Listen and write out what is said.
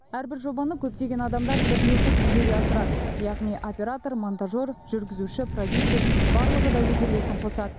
әрбір жобаны көптеген адамдар бірлесіп жүзеге асырады яғни оператор монтажер жүргізуші продюсер барлығы да өз үлесін қосады